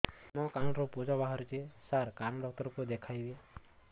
ମୋ କାନରୁ ପୁଜ ବାହାରୁଛି ସାର କାନ ଡକ୍ଟର କୁ ଦେଖାଇବି